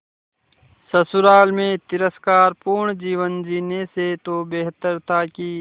ससुराल में तिरस्कार पूर्ण जीवन जीने से तो बेहतर था कि